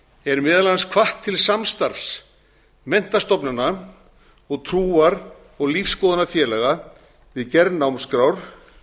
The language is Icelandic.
er meðal annars hvatt til samstarfs menntastofnana og trúar og lífsskoðanafélaga við gerð námskrár